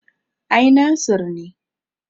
Ai Nasir ne